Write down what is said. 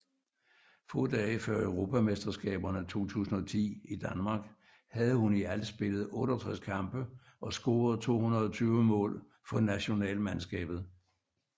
Få dage før Europamesterskaberne 2010 i Danmark havde hun i alt spillet 68 kampe og scoret 220 mål for nationalmandskabet